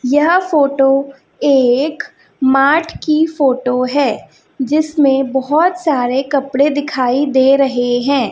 यह फोटो एक मार्ट की फोटो है जिसमें बहोत सारे कपड़े दिखाई दे रहे हैं।